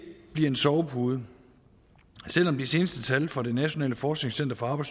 bliver en sovepude selv om de seneste tal fra det nationale forskningscenter for